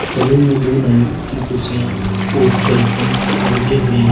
Salon में दो नाई की कुर्सियां और दर्पण लगे हुए हैं।